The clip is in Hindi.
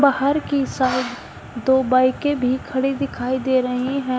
बाहर की साइड दो बाईकें भी खड़ी दिखाई दे रही हैं।